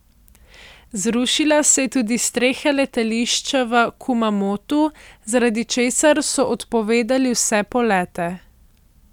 Zrušila se je tudi streha letališča v Kumamotu, zaradi česar so odpovedali vse polete.